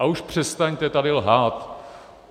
A už přestaňte tady lhát!